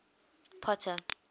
potter